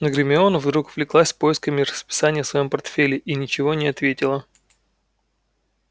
но гермиона вдруг увлеклась поисками расписания в своём портфеле и ничего не ответила